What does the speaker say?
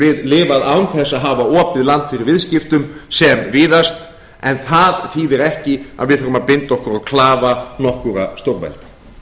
við lifað án þess að hafa opið land fyrir viðskiptum sem víðast en það þýðir ekki að við þurfum að binda okkur á klafa nokkurra stórvelda